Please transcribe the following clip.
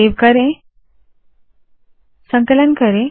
save करे संकलन करे